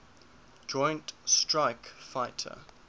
joint strike fighter